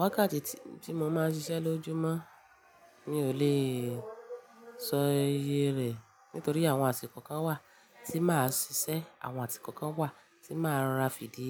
Wákàtí tí mo máa ń ṣiṣẹ́ lójoojúmọ́, mi ò lè sọ iye rẹ̀ nítorí àwọn àsìkò kan wà tí màá ṣiṣẹ́, àwọn àsìkò kan wà tí màá rà fìdí